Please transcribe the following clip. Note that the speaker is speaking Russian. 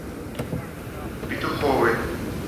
петуховой